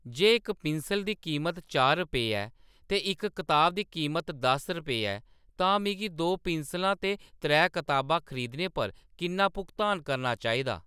जे इक पिंसल दी कीमत चार रुपये ऐ ते इक कताब दी कीमत दस रुपये ऐ तां मिगी दो पिंसलां ते त्रै कताबां खरीदने पर किन्ना भुगतान करना चाहिदा